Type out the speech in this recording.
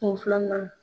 Kun filanan